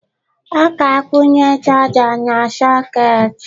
Ọ ga-akwunye charger na socket.